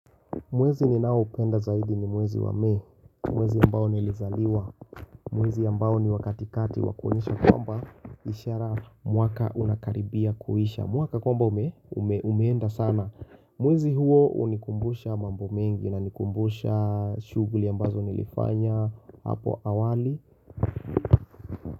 Mwezi ninaopenda zaidi ni mwezi wa Mei. Ni mwezi ambao nilizaliwa. Mwezi ambao ni wa katikati wa kuonyesha kwamba ishara mwaka unakaribia kuisha. Mwaka kwamba umeenda sana Mwezi huo hunikumbusha mambo mengi. Inanikumbusha shughuli ambazo nilifanya hapo awali.